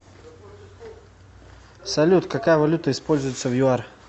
салют какая валюта используется в юар